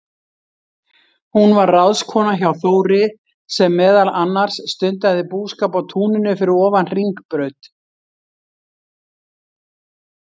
Hún var ráðskona hjá Þóri, sem meðal annars stundaði búskap á túninu fyrir ofan Hringbraut.